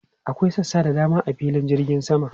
Akwai sassa da dama a filin jirgin sama.